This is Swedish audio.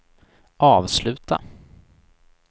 avsluta